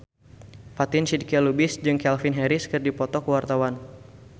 Fatin Shidqia Lubis jeung Calvin Harris keur dipoto ku wartawan